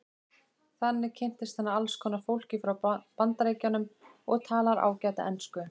Þannig kynntist hann alls konar fólki frá Bandaríkjunum og talar ágæta ensku.